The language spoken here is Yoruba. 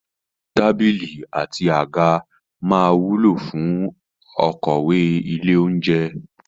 Tábìlì àti àga máa wúlò fún okòwò ilé-oúnjẹ.